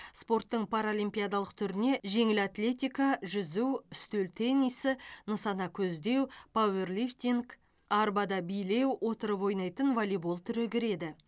спорттың паралимпиадалық түріне жеңіл атлетика жүзу үстел теннисі нысана көздеу пауэрлифтинг арбада билеу отырып ойнайтын волейбол түрі кіреді